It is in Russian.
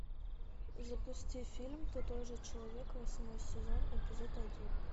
запусти фильм ты тоже человек восьмой сезон эпизод один